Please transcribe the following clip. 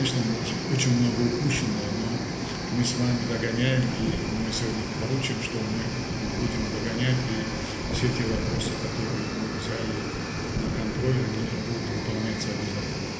Əlbəttə, çox şey əldən verilib, amma biz sizinlə arxadan gəlirik və bu gün tapşıracağıq ki, biz arxadan gələcəyik və nəzarətdə saxladığımız bütün bu məsələlər mütləq icra olunacaq.